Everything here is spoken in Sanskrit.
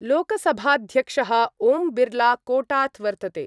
लोकसभाध्यक्षः ओम् बिर्ला कोटात वर्तते।